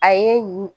A ye